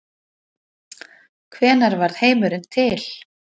Hvenær varð heimurinn til?